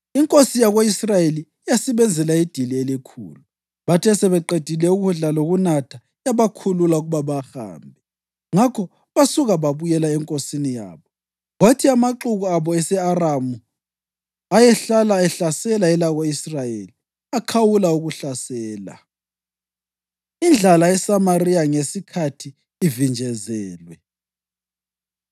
Inkosi yako-Israyeli yasibenzela idili elikhulu, bathe sebeqedile ukudla lokunatha, yabakhulula ukuba bahambe, ngakho basuka babuyela enkosini yabo. Kwathi amaxuku amabutho ase-Aramu ayehlala ehlasela elako-Israyeli akhawula ukuhlasela. Indlala ESamariya Ngesikhathi Ivinjezelwe